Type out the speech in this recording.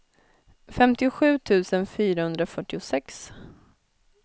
femtiosju tusen fyrahundrafyrtiosex